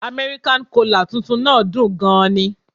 American cola' tuntun náà dùn ún gan ni